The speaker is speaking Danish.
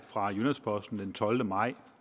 fra jyllands posten den tolvte maj